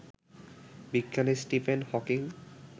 বিজ্ঞানী Stephen Hawking